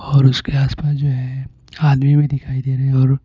और उसके आसपास जो है आदमी भी दिखाई दे रहे है और--